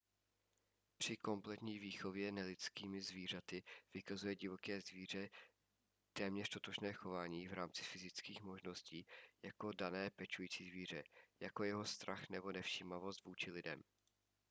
při kompletní výchově nelidskými zvířaty vykazuje divoké dítě téměř totožné chování v rámci fyzických možností jako dané pečující zvíře jako je jeho strach nebo nevšímavost vůči lidem